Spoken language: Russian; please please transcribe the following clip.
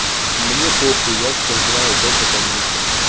мне похуй я всех знаю только по никам